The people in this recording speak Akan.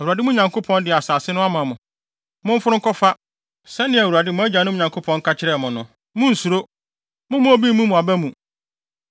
Awurade, mo Nyankopɔn, de asase no ama mo. Momforo nkɔfa, sɛnea Awurade, mo agyanom Nyankopɔn, ka kyerɛɛ mo no. Munnsuro: mommma obi mmu mo aba mu.”